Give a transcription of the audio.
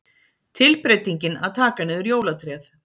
Tilbreytingin að taka niður jólatréð.